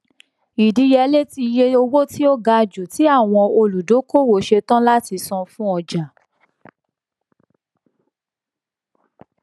ìdíyelé iye owó tí ó ga jù tí àwọn olùdókòwò ṣetán láti san fún ọjà